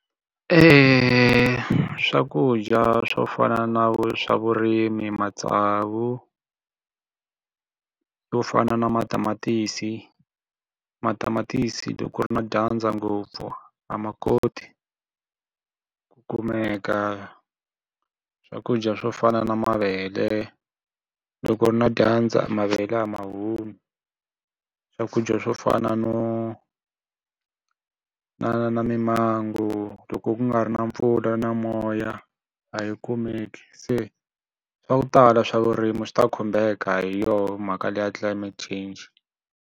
Swakudya swo fana na swa vurimi matsavu yo fana na matamatisi. Matamatisi loko ku ri na dyandza ngopfu a ma koti ku kumeka. Swakudya swo fana na mavele, loko ku ri na dyandza mavele a ma humi. Swakudya swo fana no na na mimango loko ku nga ri na mpfula na moya a yi kumeki, se swa ku tala swa vurimi swi ta khumbeka hi yoho mhaka leyi ya climate change.